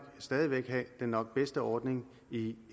stadig væk have den nok bedste ordning i